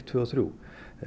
tvö og þrjú